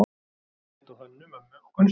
Hann leit á Hönnu-Mömmu og Gunnstein.